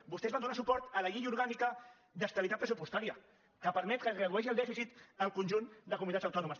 vostès van donar suport a la llei orgànica d’estabilitat pressupostària que permet que es redueixi el dèficit al conjunt de comunitats autònomes